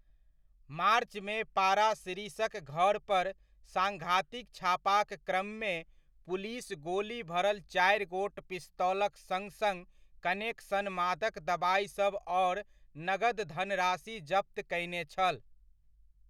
मार्चमे पारासिरिसक घर पर साङ्घातिक छापाक क्रममे पुलिस गोली भरल चारि गोट पिस्तौलक सङ सङ कनेक सन मादक दबाइसभ आओर नकद धनराशि जप्त कयने छल।